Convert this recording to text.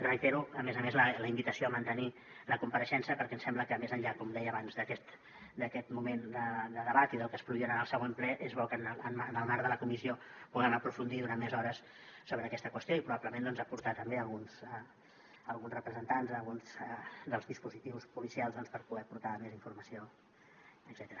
reitero a més a més la invitació a mantenir la compareixença perquè em sembla que més enllà com deia abans d’aquest moment de debat i del que es produirà en el següent ple és bo que en el marc de la comissió puguem aprofundir durant més hores sobre aquesta qüestió i probablement doncs aportar també alguns representants alguns dels dispositius policials per poder aportar més informació etcètera